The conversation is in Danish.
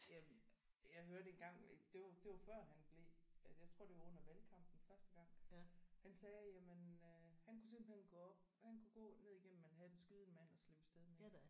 Jamen jeg hørte engang det var det var før han blev jeg tror det var under valgkampen første gang han sagde jamen øh han kunne simpelthen gå op han kunne gå ned ignnem Manhattan skyde en mand og slippe afsted med det